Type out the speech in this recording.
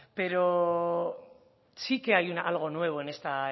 pero sí que hay algo nuevo en esta